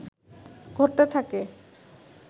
ঘটতে থাকে